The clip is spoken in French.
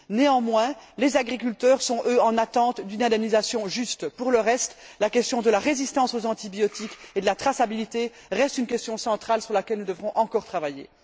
Néanmoins les agriculteurs sont, eux, en attente d'une indemnisation juste. Pour le reste, les questions de la résistance aux antibiotiques et de la traçabilité restent des questions centrales sur lesquelles nous devrons encore travailler.